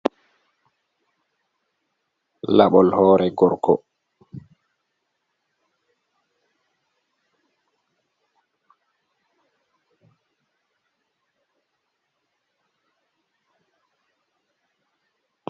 Labol hoore gorgo.